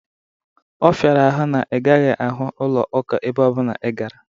Ọ fịara ahụ na ị gaghị ahụ ụlọ ụka ebe ọbụna ị gara